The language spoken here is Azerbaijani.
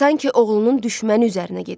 Sanki oğlunun düşməni üzərinə gedirdi.